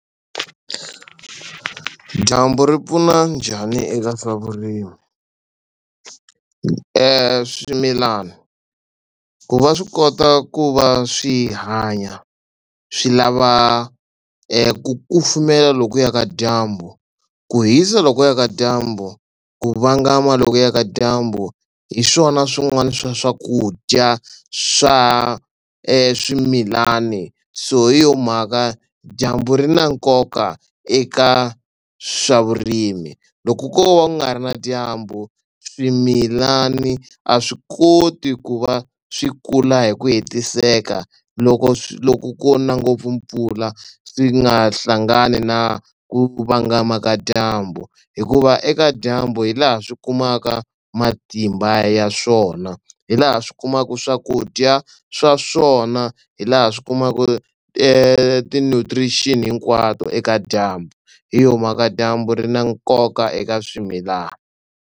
Dyambu ri pfuna njhani eka swa vurimi? Swimilana ku va swi kota ku va swi hanya swi lava ku kufumela lokuya ka dyambu, ku hisa lokuya ka dyambu, ku vanga mali lokuya ka dyambu hi swona swin'wana swa swakudya swa swimilani so hi yo mhaka dyambu ri na nkoka eka swa vurimi. Loko ko va ku nga ri na dyambu swimilani a swi koti ku va swi kula hi ku hetiseka. Loko swi loko ko na ngopfu mpfula swi nga hlangani na ku vangamaka dyambu hikuva eka dyambu hi laha swi kumaka matimba ya swona, hi laha swi kumaka swakudya swa swona, hi laha swi kumaka ti-nutrition hinkwato eka dyambu hi yo mhaka dyambu ri na nkoka eka swimilana.